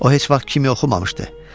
O heç vaxt kimya oxumamışdı.